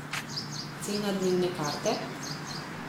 Cena dnevne karte?